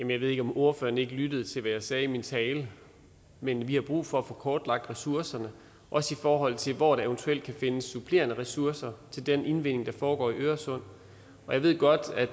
jeg ved ikke om ordføreren ikke lyttede til hvad jeg sagde i min tale men vi har brug for at få kortlagt ressourcerne også i forhold til hvor der eventuelt kan findes supplerende ressourcer til den indvinding der foregår i øresund jeg ved godt at